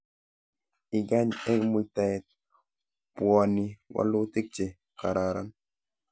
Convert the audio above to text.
Ikany eng muitaet, pwoni walutik che kararan